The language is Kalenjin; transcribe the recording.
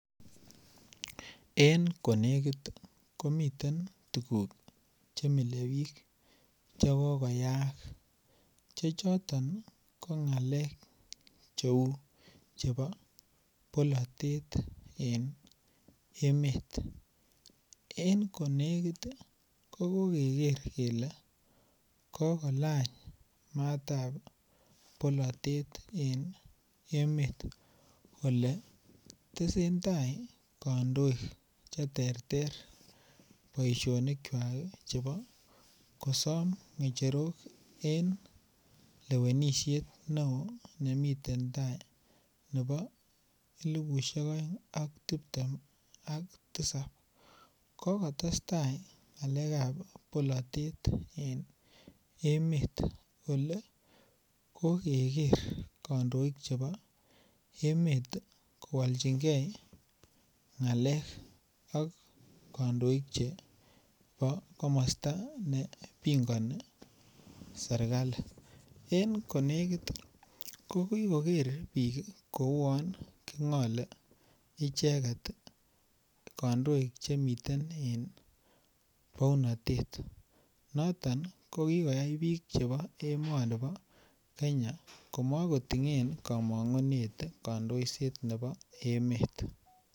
En ko negit ii komiten tuguk Che mile bik Che kokoyaak Che choto ko cheu ngalekab bolatet en emet en ko negit ii ko koger kele ko kolany matab bolatet en emet Ole tesentai kandoik Che terter boisionik kwak ii chebo kosom ngecherok en lewenisiet neo nemiten tai nebo elipusiek oeng ak tiptem ak tisap ko kotestai ngalekab bolatet en emet Ole koger kandoik chebo emet ii kowolchingei ngalek kandoik chebo komosta nebingoni serkali en ko negit ki koger bik ko uon ki ngole ichek kandoik Che miten en bounatet noton ko ki koyai bik chebo emoni bo Kenya kimakitinge kamangunet kandoiset nebo emet